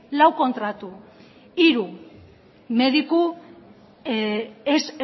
lau kontratu hiru mediku ez